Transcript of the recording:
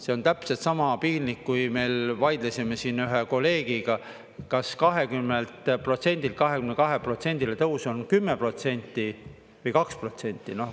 See on täpselt sama piinlik, kui me vaidlesime siin ühe kolleegiga, kas 20%‑lt 22%-le tõus on 10% või 2%.